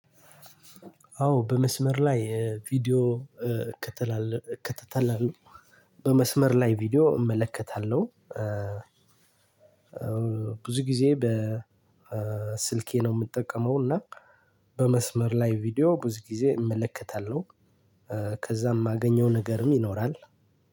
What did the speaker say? አዎ በመስመር ላይ ቪዲዮ እከተላለሁ። በመስመር ላይ ቪዲዮ እመለከታለሁ ብዙ ጊዜ በስልኬ ነው የምጠቀመው እና በመስመር ላይ ቪዲዮ ብዙ ጊዜ እመለከታለሁ። ከዛም የሚገኘው ነገርም ይኖራል።